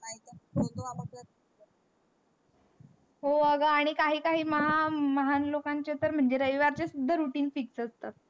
हो, अगं काही काही महा महान लोकांचे तर म्हनजे रविवारचे the routine fix असतात.